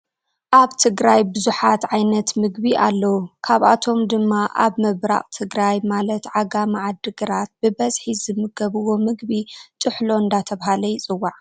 ኣበ ትግራይ ብዙሓት ዓይነት ምግቢ ኣለው ካብ ኣቶም ድማ ኣብ ምብራቅ ትግራይ ማላት ዓጋመ ዓዲ ግራት ብበዝሒ ዝምገብዎ ምግቢ ጥሕሎ እንዳተባሃለ ይፅዋዕ።